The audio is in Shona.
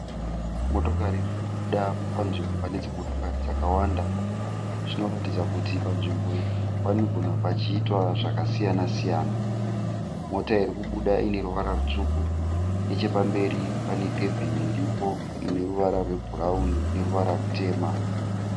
Motokari iri kubuda panzvimbo pane dzimotokari dzakawanda. Zvinoratidza kuti panzvimbo iyi panogona kunge pachiitwa zvakasiyana siyana. Mota iri kubuda ine ruvara rutsvuku. Nechepamberi pane kebhini iripo ine ruvara rwebhurauni neruvara rutema.